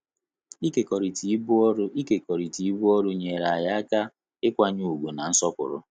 Ikekorita ibu ọrụ Ikekorita ibu ọrụ nyere anyi aka ịkwanye ugwu na nsọpụrụ